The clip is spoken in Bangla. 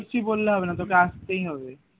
কিছু বললে হবে না তোকে আসতেই হবে